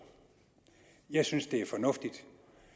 jeg synes det er fornuftigt